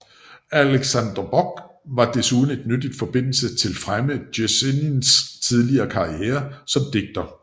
Aleksandr Blok var især en nyttigt forbindelse til fremme Jesenins tidlige karriere som digter